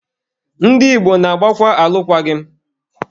Ndị Igbo na-agbakwa alụkwaghị m